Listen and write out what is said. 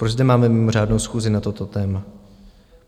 Proč zde máme mimořádnou schůzi na toto téma?